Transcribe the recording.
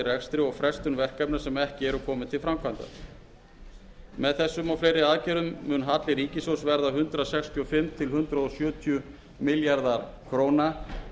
rekstri og frestun verkefna sem ekki eru komin til framkvæmda með þessum og fleiri aðgerðum mun halli ríkissjóðs verða hundrað sextíu og fimm hundrað sjötíu milljarðar króna